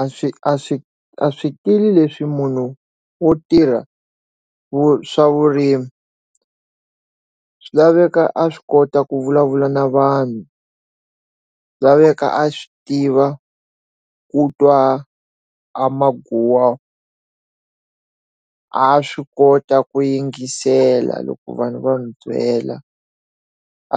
A swi a swi a swikili leswi munhu wo tirha vu swa vurimi swi laveka a swi kota ku vulavula na vanhu laveka a swi tiva ku twa a maguwa a swi kota ku yingisela loko vanhu va n'wi byela